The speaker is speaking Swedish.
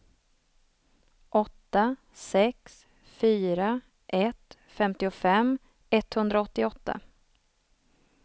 åtta sex fyra ett femtiofem etthundraåttioåtta